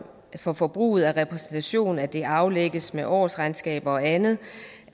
for forbruget af repræsentation at det aflægges med årsregnskaber og andet